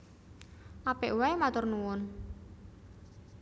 Apik waé matur nuwun